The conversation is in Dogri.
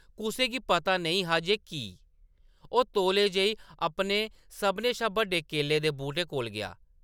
कुसै गी पता नेईं हा जे की? ओह्‌‌ तौले जेही अपने सभनें शा बड्डे केले दे बूह्‌‌टे कोल गेआ ।